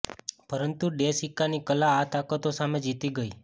પરંતુ ડે સીકાની કલા આ તાકાતો સામે જીતી ગઇ